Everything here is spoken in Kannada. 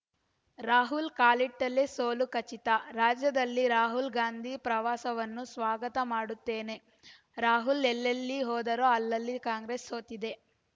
ರಾಹುಲ್‌ ಕಾಲಿಟ್ಟಲ್ಲೆ ಸೋಲು ಖಚಿತ ರಾಜ್ಯದಲ್ಲಿ ರಾಹುಲ್‌ ಗಾಂಧಿ ಪ್ರವಾಸವನ್ನು ಸ್ವಾಗತ ಮಾಡುತ್ತೇನೆ ರಾಹುಲ್‌ ಎಲ್ಲೆಲ್ಲಿ ಹೋದರೋ ಅಲ್ಲೆಲ್ಲ ಕಾಂಗ್ರೆಸ್‌ ಸೋತಿದೆ